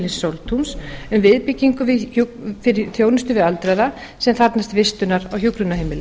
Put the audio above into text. sóltúns um viðbyggingu fyrir þjónustu við aldraða sem þarfnast vistunar á hjúkrunarheimili